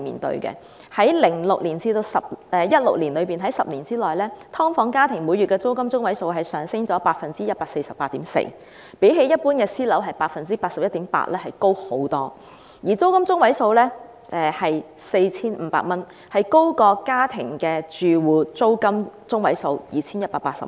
在2006年至2016年的10年期間，"劏房"每月租金中位數上升了 148.4%， 較一般私樓的升幅 81.8% 高出很多；而"劏房"的租金中位數是 4,500 元，高於全港家庭住戶的每月租金中位數 2,180 元。